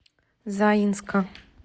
заинска